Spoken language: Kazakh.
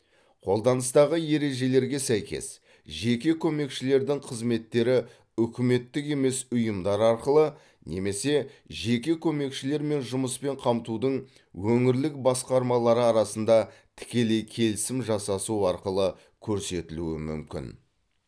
қолданыстағы ережелерге сәйкес жеке көмекшілердің қызметтері үкіметтік емес ұйымдар арқылы немесе жеке көмекшілер мен жұмыспен қамтудың өңірлік басқармалары арасында тікелей келісім жасасу арқылы көрсетілуі мүмкін